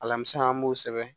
Alamisa an b'o sɛbɛn